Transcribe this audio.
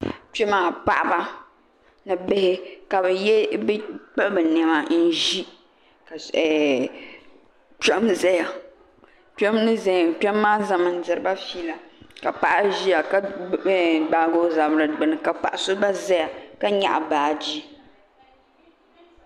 kpe maa paɣaba ni bihi ka bɛ kpiɣi bɛ niɛma n ʒi ka kpema zaya kpem ni zaya kpem maa zami n diriba fiila ka paɣa ʒia gbaagi o zabri gbini paɣa so gba ʒɛya ka nyaɣi baaji.